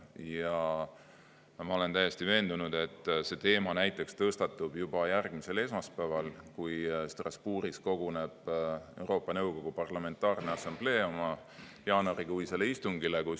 Ja ma olen täiesti veendunud, et see teema tõstatub juba järgmisel esmaspäeval, kui Strasbourgis koguneb Euroopa Nõukogu Parlamentaarne Assamblee oma jaanuarikuisele istungile.